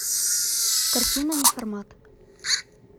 картина неформат